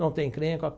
Não tem encrenca.